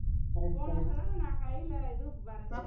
போன வருசம் தான நான் கையில, இது வரைந்தேன்